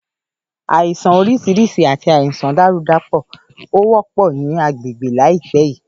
Àìsàn orísirísi àti àìsàn dàrúdàpọ̀ ó wọ́pọ̀ ní agbègbè láìpé yìí